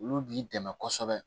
Olu b'i dɛmɛ kosɛbɛ